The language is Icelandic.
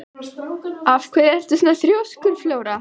Af hverju ertu svona þrjóskur, Flóra?